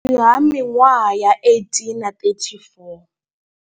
Vhukati ha miṅwaha ya 18 na 34.